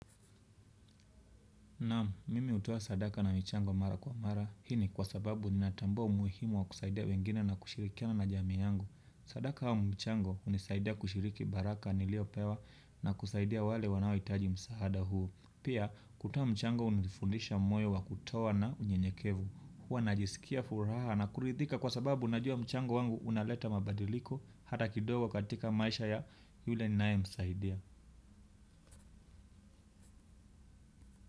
Naam, mimi hutoa sadaka na michango mara kwa mara. Hii ni kwa sababu ninatambua umuhimu wa kusaidia wengine na kushirikiana na jamii yangu. Sadaka aumchango hunisaidia kushiriki baraka niliyo pewa na kusaidia wale wanaohitaji msahada huu. Pia, kutoa mchango hunifundisha moyo wa kutoa na unye nyekevu. Huwa najisikia furaha na kuridhika kwa sababu najua mchango wangu unaleta mabadiliko hata kidogo katika maisha ya yule ninae msaidia.